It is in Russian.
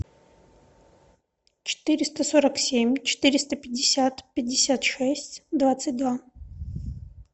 четыреста сорок семь четыреста пятьдесят пятьдесят шесть двадцать два